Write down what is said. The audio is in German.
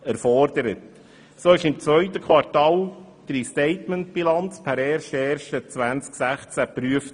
So wurde im zweiten Quartal die Restatementbilanz per 1. 1. 2016 geprüft.